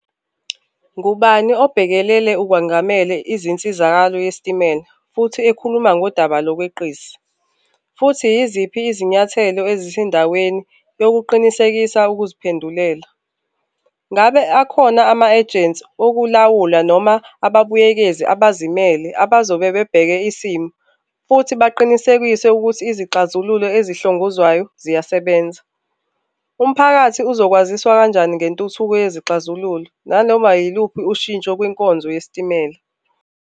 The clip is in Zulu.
Ngubani obhekelele okwengamele izinsizakalo yesitimela futhi ikhuluma ngodaba lokweqisa, futhi yiziphi izinyathelo ezisendaweni yokuqinisekisa ukuziphendulela? Ngabe akhona ama-agents okulawula noma ababuyekezi abazimele abazobe bebheke isimo, futhi baqinisekise ukuthi izixazululo ezihlongozwayo ziyasebenza? Umphakathi uzokwaziswa kanjani ngentuthuko yezixazululo nanoma yiluphi ushintsho kwinkonzo yesitimela?